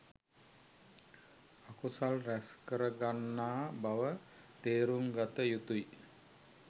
අකුසල් රැස් කර ගන්නා බව තේරුම් ගත යුතුයි.